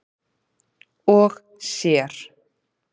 og sér.